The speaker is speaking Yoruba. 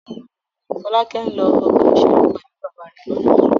Fọ́lákẹ́ ń lọ ọgbà-ìṣeré pẹ̀lú bàbá rẹ̀ lọ́la.